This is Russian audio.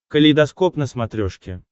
калейдоскоп на смотрешке